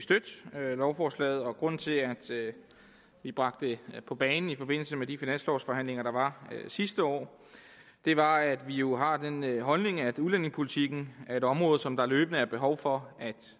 lovforslaget grunden til at vi bragte det på bane i forbindelse med de finanslovforhandlinger der var sidste år var at vi jo har den holdning at udlændingepolitikken er et område som der løbende er behov for